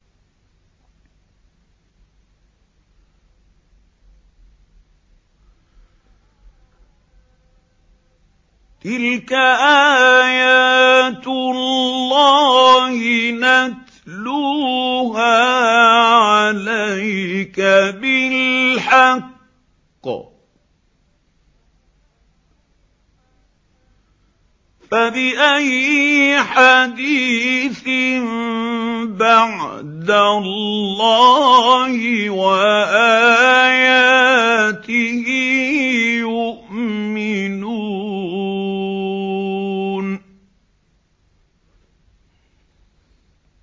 تِلْكَ آيَاتُ اللَّهِ نَتْلُوهَا عَلَيْكَ بِالْحَقِّ ۖ فَبِأَيِّ حَدِيثٍ بَعْدَ اللَّهِ وَآيَاتِهِ يُؤْمِنُونَ